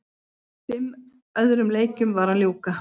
Fimm öðrum leikjum var að ljúka